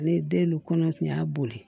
Ne den no kɔnɔ tun y'a boli